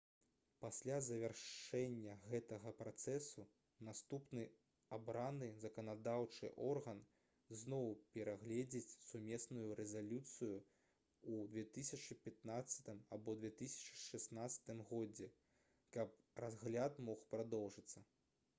пасля завяршэння гэтага працэсу наступны абраны заканадаўчы орган зноў перагледзіць сумесную рэзалюцыю-3 у 2015 або 2016 годзе каб разгляд мог прадоўжыцца